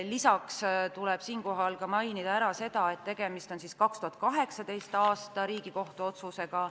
Lisaks tuleb mainida seda, et tegemist on 2018. aasta Riigikohtu otsusega.